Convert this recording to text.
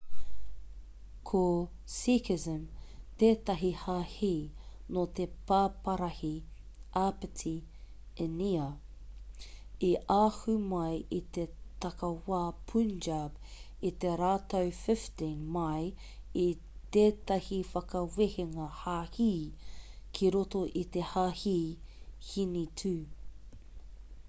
ko sikhism tētahi hāhi nō te paparahi āpiti īnia i ahu mai i te takiwā punjab i te rautau 15 mai i tētahi whakawehenga hāhi ki roto i te hāhi hinitū